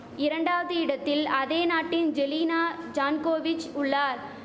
இரண்டாவது இடத்தில் அதே நாட்டின் ஜெலீனா ஜான்கோவிச் உள்ளார்